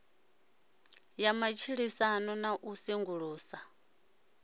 ya matshilisano na u sengulusa